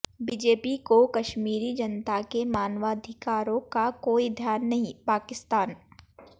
BJP को कश्मीरी जनता के मानवाधिकारों का कोई ध्यान नहींः पाकिस्तान